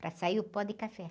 Para sair o pó de café.